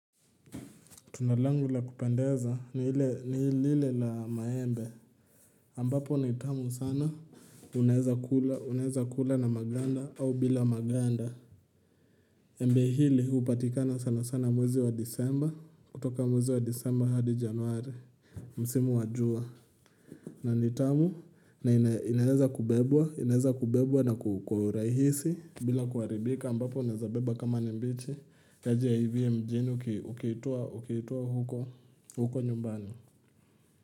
Tunda langu la kupendeza ni ile ni lile la maembe ambapo ni tamu sana unaeza kula unaeza kula na maganda au bila maganda Embe hili hupatikana sana sana mwezi wa disemba kutoka mwezi wa disemba hadi januari Msimu wa jua na ni tamu na inaweza kubebwa inaweza kubebwa na kwa uhurahisi bila kuharibika ambapo naezabeba kama ni mbichi kazi ya hivi mjini ukiitoa huko nyumbani.